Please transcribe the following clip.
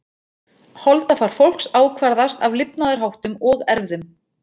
Holdafar fólks ákvarðast af lifnaðarháttum og erfðum.